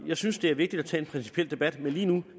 jeg synes det er vigtigt at tage en principiel debat men lige nu